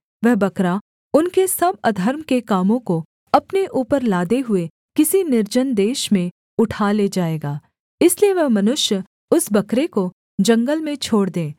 वह बकरा उनके सब अधर्म के कामों को अपने ऊपर लादे हुए किसी निर्जन देश में उठा ले जाएगा इसलिए वह मनुष्य उस बकरे को जंगल में छोड़ दे